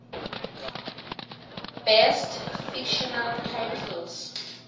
best fictional titles